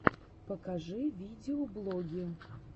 покажи видеоблоги